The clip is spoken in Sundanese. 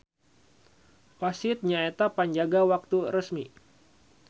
Wasit nyaeta panjaga waktu resmi.